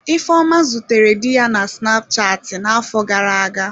Ifeoma zutere di ya na snapchatị n'afọ gara aga.